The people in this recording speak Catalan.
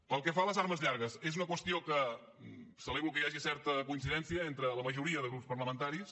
pel que fa a les armes llargues és una qüestió en què celebro que hi hagi certa coincidència entre la majoria de grups parlamentaris